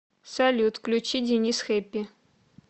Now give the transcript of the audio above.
салют включи денис хэппи